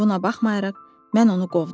Buna baxmayaraq mən onu qovdum.